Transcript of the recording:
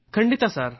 ಖಂಡಿತ ಸರ್